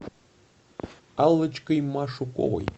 аллочкой машуковой